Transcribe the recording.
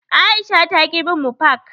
Aisha taƙi bin mu fak.